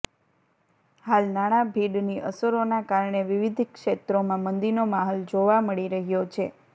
હાલ નાણાભીડની અસરોના કારણે વિવિધ ક્ષેત્રોમાં મંદીનો માહોલ જોવા મળી રહ્યો છે